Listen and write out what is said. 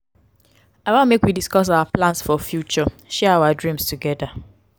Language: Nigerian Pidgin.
i wan make we discuss our plans for future share our dreams togeda.